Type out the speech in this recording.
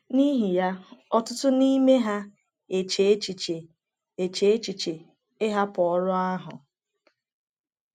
N’ihi ya, ọtụtụ n’ime ha eche echiche eche echiche ịhapụ ọrụ ahụ.